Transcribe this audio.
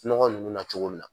Nɔgɔ nunnu na cogo min na.